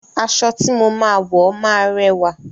Aṣọ tí mo máa wo ma rẹwà.